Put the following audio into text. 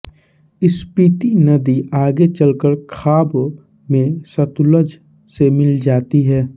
स्पीति नदी आगे चलकर खाब में सतलुज से मिल जाती है